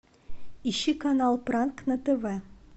ищи канал пранк на тв